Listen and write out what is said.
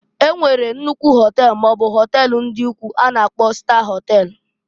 E nwere nnukwu họtel maọbụ họtel ndị ukwu a na-akpo star họtel.